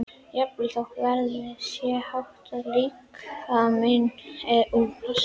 Jafnvel þótt verðið sé hátt og líkaminn úr plasti.